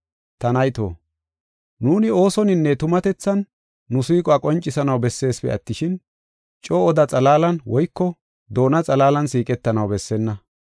Ta nayto, nuuni oosoninne tumatethan nu siiquwa qoncisanaw besseesipe attishin, coo oda xalaalan woyko doona xalaalan siiqetanaw bessenna.